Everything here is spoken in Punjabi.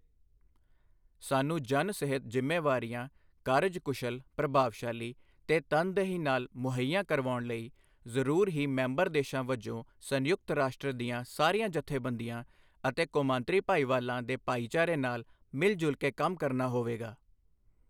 ਸਾਨੂੰ ਜਨ ਸਿਹਤ ਜ਼ਿੰਮੇਵਾਰੀਆਂ ਕਾਰਜਕੁਸ਼ਲ, ਪ੍ਰਭਾਵਸ਼ਾਲੀ ਤੇ ਤਨਦਹੀ ਨਾਲ ਮੁਹੱਈਆ ਕਰਵਾਉਣ ਲਈ ਜ਼ਰੂਰ ਹੀ ਮੈਂਬਰ ਦੇਸ਼ਾਂ ਵਜੋਂ ਸੰਯੁਕਤ ਰਾਸ਼ਟਰ ਦੀਆਂ ਸਾਰੀਆਂ ਜੱਥੇਬੰਦੀਆਂ ਅਤੇ ਕੌਮਾਂਤਰੀ ਭਾਈਵਾਲਾਂ ਦੇ ਭਾਈਚਾਰੇ ਨਾਲ ਮਿਲ ਜੁਲ ਕੇ ਕੰਮ ਕਰਨਾ ਹੋਵੇਗਾ।